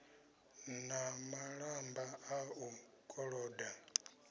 na malamba a u koloda